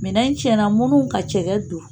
Minɛn cɛnna munnu ka cɛkɛ dun.